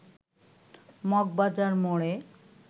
মগবাজার মোড়ে